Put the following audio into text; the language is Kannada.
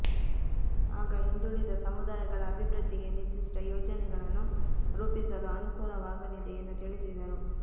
ಆಗ ಹಿಂದುಳಿದ ಸಮುದಾಯಗಳ ಅಭಿವೃದ್ಧಿಗೆ ನಿರ್ಧಿಷ್ಟ ಯೋಜನೆಗಳನ್ನು ರೂಪಿಸಲು ಅನುಕೂಲವಾಗಲಿದೆ ಎಂದು ತಿಳಿಸಿದರು